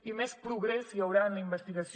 i més progrés hi haurà en la investigació